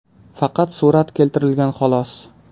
Faqat surat keltirilgan xolos.